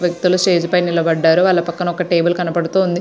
వ్యక్తులు స్టేజ్ పైన నిలబడ్డారు పక్కనే ఒక టేబుల్ కూడా ఉంది.